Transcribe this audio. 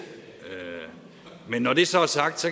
men når det så er sagt